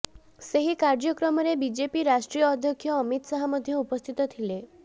ସେହି କାର୍ଯ୍ୟକ୍ରମରେ ବିଜେପି ରାଷ୍ଟ୍ରୀୟ ଅଧ୍ୟକ୍ଷ ଅମିତ ଶାହ ମଧ୍ୟ ଉପସ୍ଥିତ ଥିଲେ